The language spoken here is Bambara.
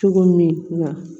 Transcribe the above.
Cogo min na